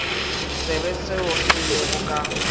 tsebe seo se lego ka